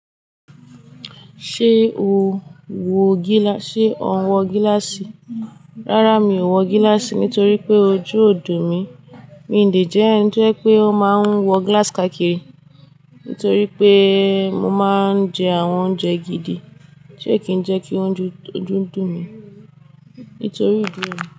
Ṣé o wọ gíláàsì? Rárá, mi ò wọ gíláàsì nítorí pé ojú ò dùn mí. Mi ò dè jẹ èní tó pé ó máa ń wọ gíláàsì káàkiri nítorí pé mo máa ń jẹ àwọn oúnjẹ gidi tí ẹ kìí jẹ́ kí ojú dùn mí nítorí ojú mi.